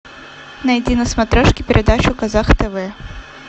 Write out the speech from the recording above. найти на смотрешке передачу казах тв